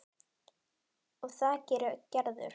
Og það gerir Gerður.